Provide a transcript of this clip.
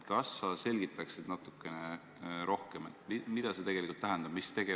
Kas sa selgitaksid natukene rohkem, mida see tegelikult tähendab?